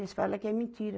Eles fala que é mentira.